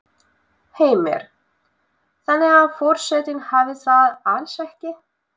Heimir: Þannig að forsetinn hafi það alls ekki?